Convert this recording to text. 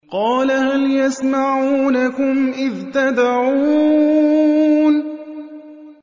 قَالَ هَلْ يَسْمَعُونَكُمْ إِذْ تَدْعُونَ